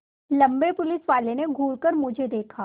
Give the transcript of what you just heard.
लम्बे पुलिसवाले ने घूर कर मुझे देखा